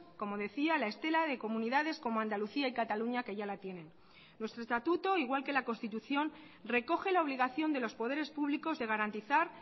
como decía a la estela de comunidades como andalucía y cataluña que ya la tienen nuestro estatuto igual que la constitución recoge la obligación de los poderes públicos de garantizar